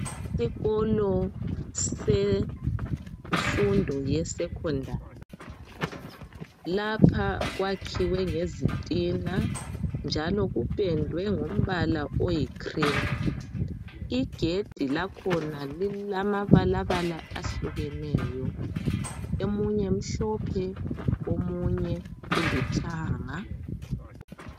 Isikolo semfundo yeSecondary lapha kwakhiwe ngezitina njalo kupendwe ngombala oyikhrimu igedi lakhona lilamabalabala ahlukeneyo omunye mhlophe omunye ulithanga.